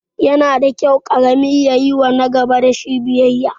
Yana da kyau ƙarami ya yiwa nagaba biyayya